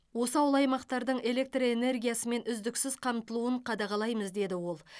осы ауыл аймақтардың электр энергиясымен үздіксіз қамтылуын қадағалаймыз деді ол